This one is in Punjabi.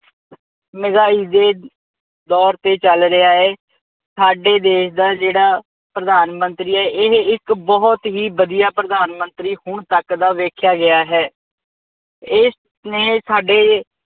ਮਹਿੰਗਾਈ ਦੇ ਦੌਰ ਤੇ ਚੱਲ ਰਿਹਾ ਹੈ। ਸਾਡੇ ਦੇਸ਼ ਦਾ ਜਿਹੜਾ ਪ੍ਰਧਾਨ ਮੰਤਰੀ ਹੈ ਇਹ ਇੱਕ ਬਹੁਤ ਹੀ ਵਧੀਆ ਪ੍ਰਧਾਨ ਮੰਤਰੀ ਹੁਣ ਤੱਕ ਦਾ ਵੇਖਿਆ ਗਿਆ ਹੈ। ਇਸਨੇ ਸਾਡੇ